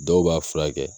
Dɔw b'a furakɛ